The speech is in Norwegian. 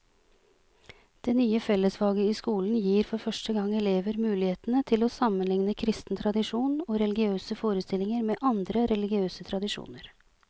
Det nye fellesfaget i skolen gir for første gang elever mulighetene til å sammenligne kristen tradisjon og religiøse forestillinger med andre religiøse tradisjoner.